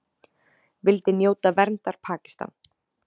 Vildi njóta verndar Pakistan